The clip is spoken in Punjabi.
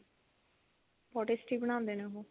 ਬਹੁਤ tasty ਬਣਾਉਂਦੇ ਨੇ ਉਹ